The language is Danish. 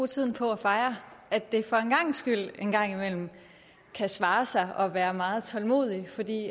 tiden på at fejre at det for en gangs skyld en gang imellem kan svare sig at være meget tålmodig fordi